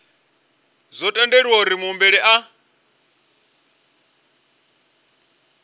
zwo ombedzelwa uri muhumbeli a